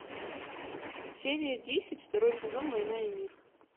серия десять второй сезон война и мир